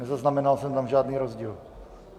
Nezaznamenal jsem tam žádný rozdíl.